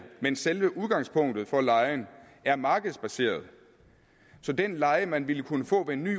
men selve udgangspunktet for lejen er markedsbaseret så den leje man ville kunne få med en ny